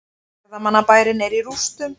Ferðamannabærinn er í rústum